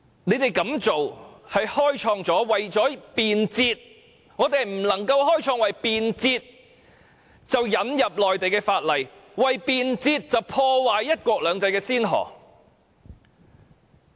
然而，我們絕對不能夠為了便捷，開創引入內地法例及破壞"一國兩制"的先河。